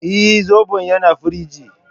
Eh, Zobon yana firingi